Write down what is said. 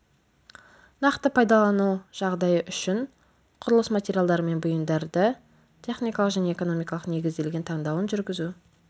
нақты пайдалану жағдайы үшін құрылыс материалдары мен бұйымдарды техникалық және экономикалық негізделген таңдауын жүргізу